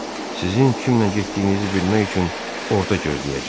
Sizin kimlə getdiyinizi bilmək üçün orda gözləyəcəm.